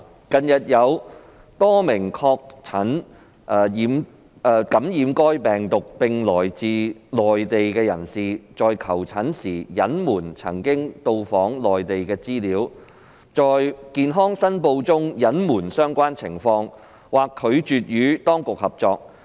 近日有多名確診感染該病毒並來自內地的人士，在求診時隱瞞曾到訪內地的資料、在健康申報中隱瞞相關情況，或拒絕與當局合作。